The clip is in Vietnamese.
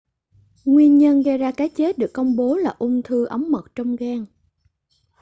nguyên nhân gây ra cái chết được công bố là ung thư ống mật trong gan